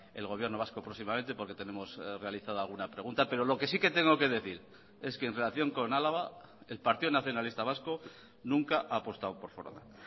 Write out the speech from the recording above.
el gobierno vasco próximamente porque tenemos realizada alguna pregunta pero lo que sí que tengo que decir es que en relación con álava el partido nacionalista vasco nunca ha apostado por foronda